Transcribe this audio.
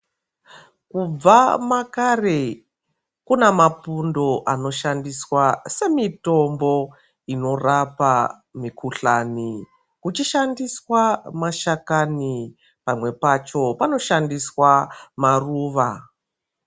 Kubva makare, kuna mapundo anoshandiswa semitombo inorapa mikhuhlani, kuchishandiswa mahlakani pamwe pacho panoshandiswa maruva.